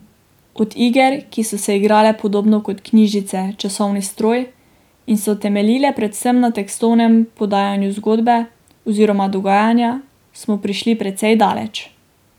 Od iger, ki so se igrale podobno kot knjižice Časovni stroj in so temeljile predvsem na tekstovnem podajanju zgodbe oziroma dogajanja, smo prišli precej daleč.